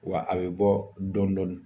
Wa a be bɔ dɔndɔni